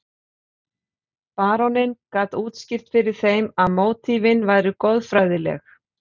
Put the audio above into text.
Baróninn gat útskýrt fyrir þeim að mótífin væru goðfræðileg.